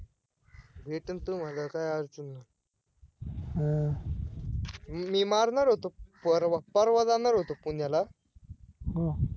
भेटेल तुम्हाला, काय अडचण नाय, मी मारणार होतो परवा परवा जाणार होतो पुण्याला